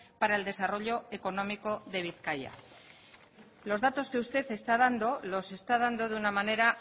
para el desarrollo económico de bizkaia los datos que usted está dando los está dando de una manera